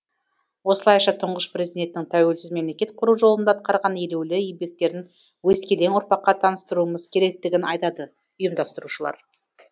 осылайша тұңғыш президенттің тәуелсіз мемлекет құру жолында атқарған елеулі еңбектерін өскелең ұрпаққа таныстыруымыз керектігін айтады ұйымдастырушылар